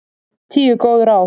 Tíu góð ráð